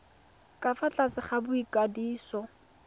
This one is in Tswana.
ka fa tlase ga boikwadiso